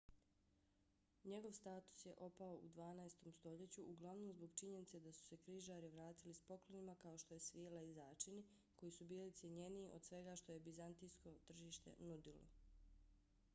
njegov status je opao u dvanaestom stoljeću uglavnom zbog činjenice da su se križari vratili s poklonima kao što je svila i začini koji su bili cjenjeniji od svega što je bizantijsko tržište nudilo